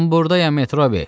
Mən burdayam Metrobi.